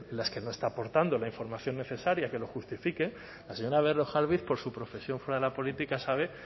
las que no está aportando la información necesaria que lo justifique la señora berrojalbiz por su profesión fuera de la política sabe